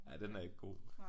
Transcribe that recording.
Ja den er ikke god